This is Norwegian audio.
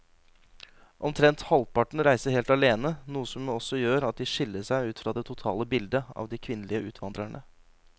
Omtrent halvparten reiser helt alene, noe som også gjør at de skiller seg ut fra det totale bildet av de kvinnelige utvandrerne.